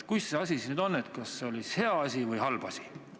Kuidas see siis nüüd on, kas see oli hea või oli halb asi?